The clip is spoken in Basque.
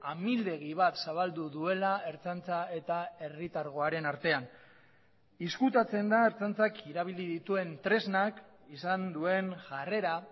amildegi bat zabaldu duela ertzaintza eta herritargoaren artean ezkutatzen da ertzaintzak erabili dituen tresnak izan duen jarrera